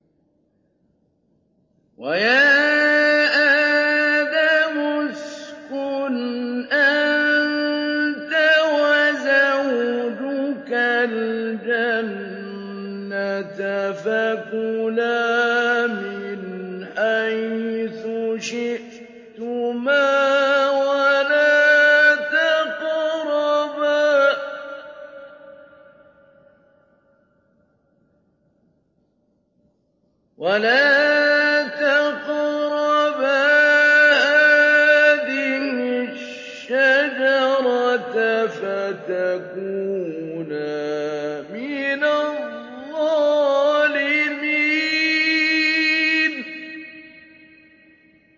وَيَا آدَمُ اسْكُنْ أَنتَ وَزَوْجُكَ الْجَنَّةَ فَكُلَا مِنْ حَيْثُ شِئْتُمَا وَلَا تَقْرَبَا هَٰذِهِ الشَّجَرَةَ فَتَكُونَا مِنَ الظَّالِمِينَ